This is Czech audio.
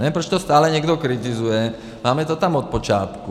Nevím, proč to stále někdo kritizuje, máme to tam od počátku.